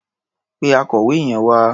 Pe akọ̀wé yẹn wá.